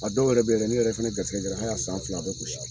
A dɔw yɛrɛ be yen yɛrɛ n'i yɛrɛ fana garisɛkɛ a y'a san fila a bɛ gosi.